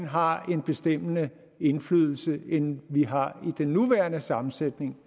har en bestemmende indflydelse end vi har med den nuværende sammensætning